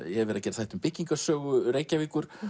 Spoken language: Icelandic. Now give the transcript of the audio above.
hef verið að gera þætti um byggingarsögu Reykjavíkur